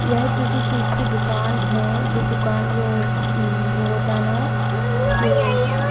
यह किसी चीज की दुकान है जिस दुकान में वो उम होता है ना ये--